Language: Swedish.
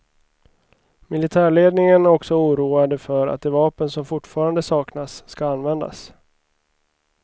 Militärledningen är också oroade för att de vapen som fortfarande saknas ska användas.